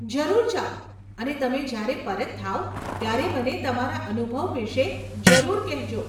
જરૂર જાવ અને તમે જયારે પરત થાવ, ત્યારે મને તમારા અનુભવ વિષે જરૂર કહેજો.